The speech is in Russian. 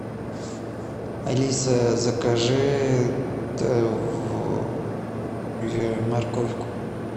алиса закажи морковку